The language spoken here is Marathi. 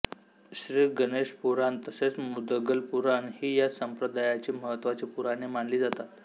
श्री गणेश पुराण तसेच मुदगल पुराण ही या संप्रदायाची महत्त्वाची पुराणे मानली जातात